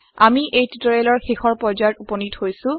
আমি এই টিওটৰিয়েলৰ শেষ পৰ্যায়ত উপনীত হৈছো